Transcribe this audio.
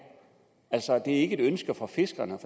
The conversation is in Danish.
altså det ikke et ønske fra fiskerne